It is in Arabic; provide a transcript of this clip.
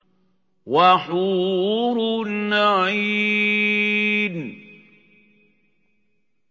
وَحُورٌ عِينٌ